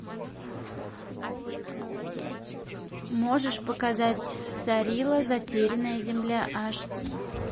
можешь показать сарила затерянная земля аш ди